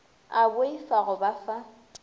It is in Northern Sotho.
a boifa go ba fa